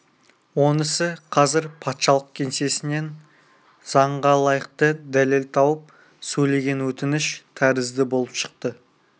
онысы қазір патшалық кеңсесінен заңға лайықты дәлел тауып сөйлеген өтініш тәрізді болып шықты